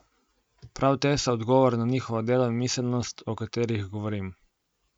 Prav te so odgovor na njihovo delo in miselnost, o katerih govorim.